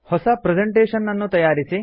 ಹೊಸ ಪ್ರೆಸೆಂಟೇಶನ್ ನ್ನು ತಯಾರಿಸಿ